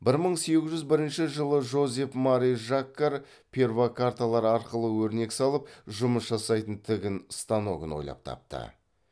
бір мың сегіз жүз бірінші жылы жозеф мари жаккар перфокарталар арқылы өрнек салып жұмыс жасайтын тігін станогын ойлап тапты